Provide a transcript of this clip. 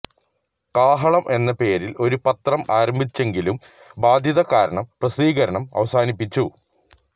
കാഹളം എന്ന പേരിൽ ഒരു പത്രം ആരംഭിച്ചെങ്കിലും ബാദ്ധ്യത കാരണം പ്രസിദ്ധീകരണം അവസാനിപ്പിച്ചു